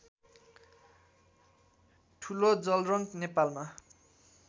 ठुलो जलरङ्क नेपालमा